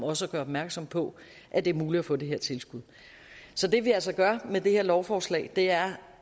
også at gøre opmærksom på at det er muligt at få det her tilskud så det vi altså gør med det her lovforslag er